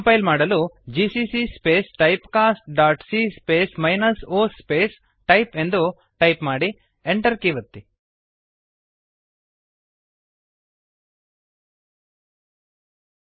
compile ಮಾಡಲು GCC space typecastಸಿಎ space o space type GCC space type cast dot C space minus O space type ಎಂದು ಟೈಪ್ ಮಾಡಿ